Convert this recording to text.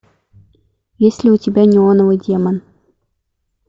есть ли у тебя неоновый демон